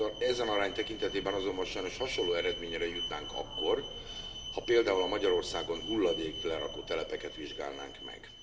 Ezen arány tekintetében azonban sajnos hasonló eredményre jutnánk akkor, ha például Magyarországon hulladéklerakó telepeket vizsgálnánk meg.